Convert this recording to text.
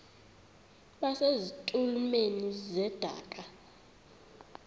base zitulmeni zedaka